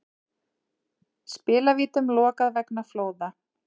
Spilavítum lokað vegna flóða